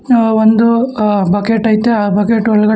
ಒಂದು ಅ ಬಕೆಟ್ ಐತೆ ಆ ಬಕೆಟ್ ಒಳ್ಗಡೆ--